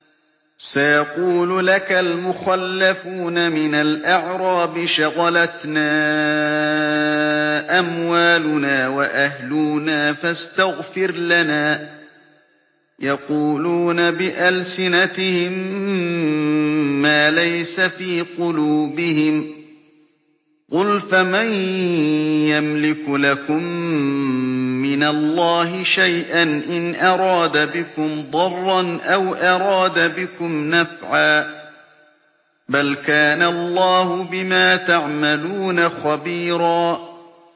سَيَقُولُ لَكَ الْمُخَلَّفُونَ مِنَ الْأَعْرَابِ شَغَلَتْنَا أَمْوَالُنَا وَأَهْلُونَا فَاسْتَغْفِرْ لَنَا ۚ يَقُولُونَ بِأَلْسِنَتِهِم مَّا لَيْسَ فِي قُلُوبِهِمْ ۚ قُلْ فَمَن يَمْلِكُ لَكُم مِّنَ اللَّهِ شَيْئًا إِنْ أَرَادَ بِكُمْ ضَرًّا أَوْ أَرَادَ بِكُمْ نَفْعًا ۚ بَلْ كَانَ اللَّهُ بِمَا تَعْمَلُونَ خَبِيرًا